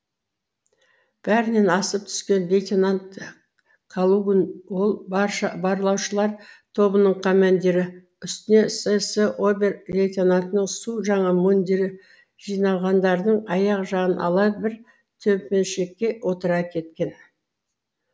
бәрінен асып түскен лейтенант калугн ол барлаушылар тобының командирі үстінде сс обер лейтенантының су жаңа мундирі жиналғандардың аяқ жағын ала бір төмпешікке отыра кеткен